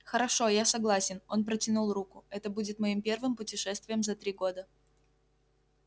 хорошо я согласен он протянул руку это будет моим первым путешествием за три года